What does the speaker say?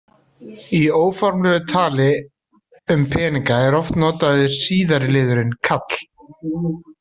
Í óformlegu tali um peninga er oft notaður síðari liðurinn- kall.